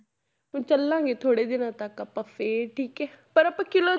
ਹੁਣ ਚੱਲਾਂਗੇ ਥੋੜ੍ਹੇ ਦਿਨਾਂ ਤੱਕ ਆਪਾਂ ਫਿਰ ਠੀਕ ਹੈ, ਪਰ ਆਪਾਂ ਕਿਲ੍ਹਾ